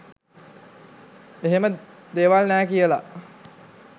එහෙම දේවල් නෑ කියල.